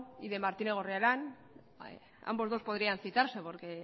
y de martínez goriarrán ambos dos podrías citarse porque